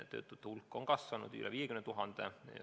Töötute hulk on kasvanud üle 50 000.